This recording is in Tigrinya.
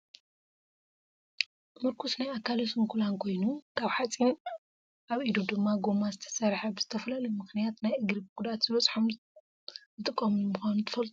ሙርጉስ ናይ ኣካለ ሱንኩላን ኮይኑ ካብ ሓፂን ኣብ ኢዱ ድማ ጎማ ዝተሰረሓ ብዝተፈላለዩ ምክንያት ናይ እግሪ መጉዳእቲ ዝበፆሖም ዝጥቀምሉ ምኳኑ ትፈልጡ ዶ ?